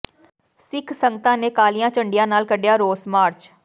ਸਿੱਖ ਸੰਗਤਾਂ ਨੇ ਕਾਲੀਆਂ ਝੰਡੀਆਂ ਨਾਲ ਕੱਿਢਆ ਰੋਸ ਮਾਰਚ